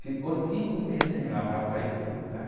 Ficou cinco meses sem lavar para ir para o lugar.